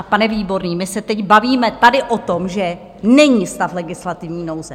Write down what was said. A pane Výborný, my se teď bavíme tady o tom, že není stav legislativní nouze.